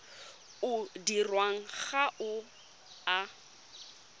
o dirwang ga o a